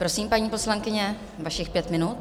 Prosím, paní poslankyně, vašich pět minut.